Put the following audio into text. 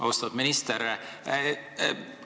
Austatud minister!